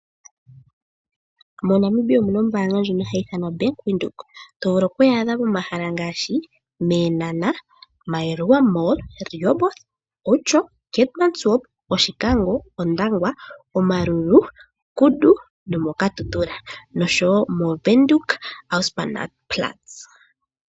MoNamibia omuna ombaanga ndjono hayi ithanwa Bank Windhoek to vulu oku yi adha pomahala ngaashi mEenhana, Maruela mall, Rehoboth, Outjo, Keetmanshoop, Oshikango, Ondangwa, Omaruru, Kudu nomokatutura noshowo moWindhoek Auspannplatz.